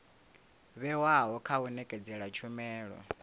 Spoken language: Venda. vhewaho kha u nekedza tshumelo